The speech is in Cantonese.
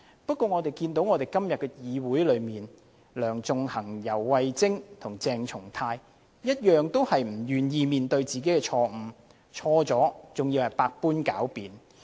不過，我們看到今天的議會內，梁頌恆、游蕙禎和鄭松泰議員同樣不願意面對自己的錯誤，犯了錯還在百般狡辯。